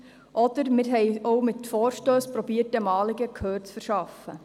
Oder wir versuchten auch mit Vorstössen, diesem Anliegen Gehör zu verschaffen.